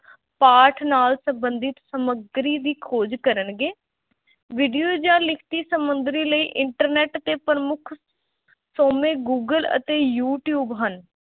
ਪਾਠ ਨਾਲ ਸੰਬੰਧਿਤ ਸਮੱਗਰੀ ਦੀ ਖੋਜ ਕਰਨਗੇ video ਜਾਂ ਲਿਖਤੀ ਸਮੱਗਰੀ ਲਈ internet 'ਤੇ ਪ੍ਰਮੁੱਖ ਸੋਮੇ ਗੂਗਲ ਅਤੇ ਯੂ-ਟਿਊਬ ਹਨ।